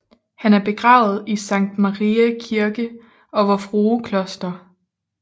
Han er begravet i Sankt Mariæ Kirke og Vor Frue Kloster